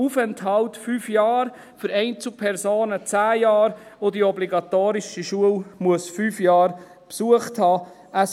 Aufenthalt 5 Jahre, für Einzelpersonen 10 Jahre, die die obligatorische Schule 5 Jahre besucht haben muss.